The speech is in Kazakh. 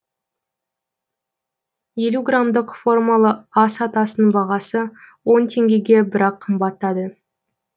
елу грамдық формалы ас атасының бағасы он теңгеге бірақ қымбаттады